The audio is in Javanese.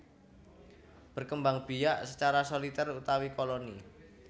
Berkembangbiak secara Solitèr utawi Koloni